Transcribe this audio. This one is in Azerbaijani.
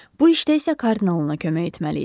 Bu işdə isə kardinalına kömək etməli idi.